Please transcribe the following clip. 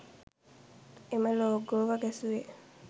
එම ලෝගෝව ගැසුවේ